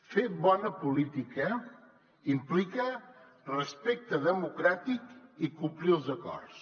fer bona política implica respecte democràtic i complir els acords